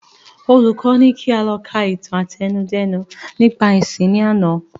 Olùkọ ní kí a lọ ka ìtàn àtẹnudẹ́nu nípa ẹ̀sìn ni àná